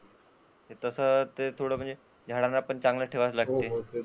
ते तस म्हणजे झाडांना चांगले ठेवावे लागते.